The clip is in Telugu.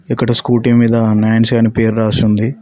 ఇక్కడ స్కూటీ మీద న్యాన్సి చేయండి పేరు రాసి ఉంది